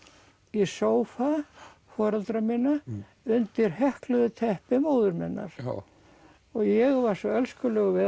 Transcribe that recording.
í sófa foreldra minna undir teppi móður minnar og ég var svo elskulegur við